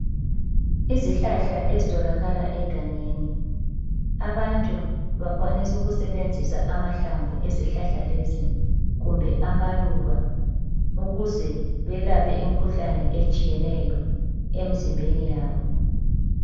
Izihlahla ezitholakala egangeni. Abantu bakwanisa ukusebenzisa amahlamvu ezihlahla lezi kumbe amaluba ukuze belaphe imkhuhlane etshiyeneyo emzimbeni yabo.